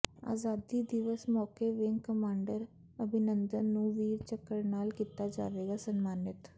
ਆਜ਼ਾਦੀ ਦਿਵਸ ਮੌਕੇ ਵਿੰਗ ਕਮਾਂਡਰ ਅਭਿਨੰਦਨ ਨੂੰ ਵੀਰ ਚੱਕਰ ਨਾਲ ਕੀਤਾ ਜਾਵੇਗਾ ਸਨਮਾਨਿਤ